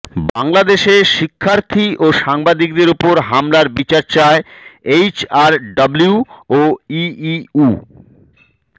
বাংলাদেশে শিক্ষার্থী ও সাংবাদিকদের ওপর হামলার বিচার চায় এইচআরডব্লিউ ও ইইউ